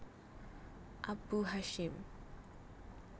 Abu Hasyim